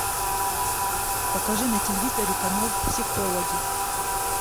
покажи на телевизоре канал психологи